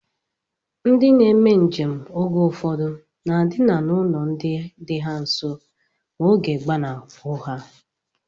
Ndị na-eme njem oge ụfọdụ na-edina n'ụlọ ndina dị ha nso ma oge gbanahụ ha